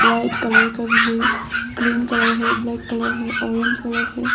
White colour का भी है ग्रीन कलर है ब्लैक कलर है ऑरेंज कलर है।